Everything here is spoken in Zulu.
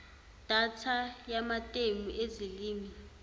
data yamatemu ezilimi